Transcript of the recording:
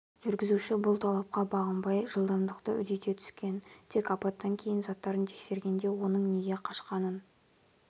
жүргізуші бұл талапқа бағынбай жылдамдықты үдете түскен тек апаттан кейін заттарын тексергенде оның неге қашқанын